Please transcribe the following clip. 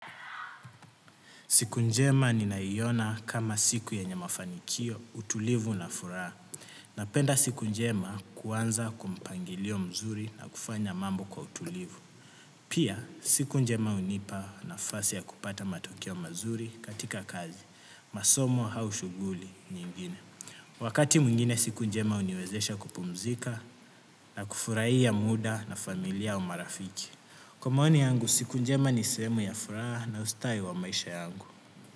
Siku njema ninaiona kama siku yenye mafanikio, utulivu na furaha. Napenda siku njema kuanza kwa mpangilio mzuri na kufanya mambo kwa utulivu. Pia, siku njema hunipa nafasi ya kupata matokeo mazuri katika kazi. Masomo au shughuli nyingine. Wakati mwingine siku njema uniwezesha kupumzika na kufurahia muda na familia umarafiki. Kwa maoni yangu, siku njema ni sehemu ya furaha na ustawi wa maisha yangu.